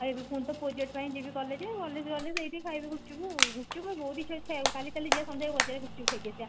ଏବେ ପୁଣି ତ project ପାଇଁ ଯିବି collage ଆଉ ଗଲେ collage ସେଠି ଖାଇବି ଗୁପ୍ଚୁପ ଆଉ ଗୁପ୍ଚୁପ ବହୁତ ଇଚ୍ଛା ହଉଛି ଖାଇବାକୁ କାଲି ଚାଲ ଯିବା ସନ୍ଧ୍ଯା ବେଳେ ବାଜରରେ ଗୁପ୍ଚୁପ ଖାଇକି ଆସିବା